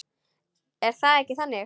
Er það ekki þannig?